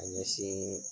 Ka ɲɛsin